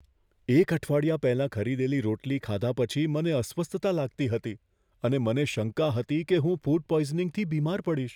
એક અઠવાડિયા પહેલાં ખરીદેલી રોટલી ખાધા પછી મને અસ્વસ્થતા લાગતી હતી અને મને શંકા હતી કે હું ફૂડ પોઈઝનીંગથી બીમાર પડીશ.